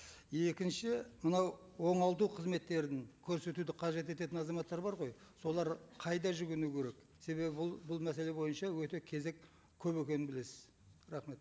екінші мынау оңалту қызметтерін көрсетуді қажет ететін азаматтар бар ғой солар қайда жүгіну керек себебі бұл бұл мәселе бойынша өте кезек көп екенін білесіз рахмет